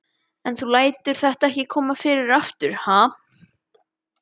En þú lætur þetta ekki koma fyrir aftur, ha?